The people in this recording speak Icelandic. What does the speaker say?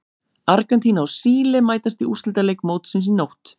Argentína og Síle mætast í úrslitaleik mótsins í nótt.